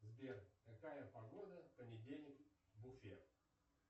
сбер какая погода в понедельник в уфе